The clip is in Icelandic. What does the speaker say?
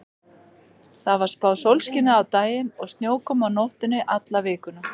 Það var spáð sólskini á daginn og snjókomu á nóttunni alla vikuna.